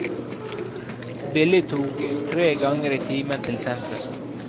Billig tog tre ganger i timen til sentrum.